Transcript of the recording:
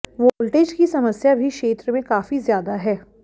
voltage की समस्या भी क्षेत्र में काफी ज्यादा है